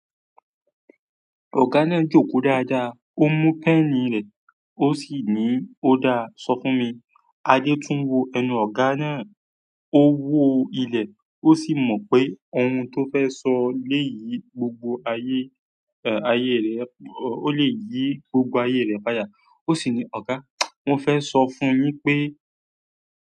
Ọ̀gá náà jòkó dáadáa, ó mú pẹ́ẹ́nì rẹ, ó sì níí o dáa sọfún mi Adé tún wo ẹnu ọ̀gá náà, ó wo ilẹ̀, ó sì mọ̀ pé ohun tó fẹ́ sọ lè yí gbogbo ayé, ayé rẹ̀, ó lè yí gbogbo ayé rẹ̀ pa dà. Ó sì ní, "Ọ̀gá, mo fẹ́ sọ fún yín pé."